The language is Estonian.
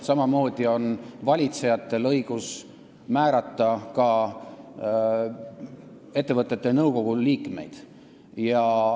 Samamoodi on valitsejatel õigus määrata liikmeid ka ettevõtete nõukogudesse.